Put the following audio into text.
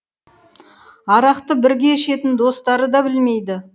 арақты бірге ішетін достары да білмейді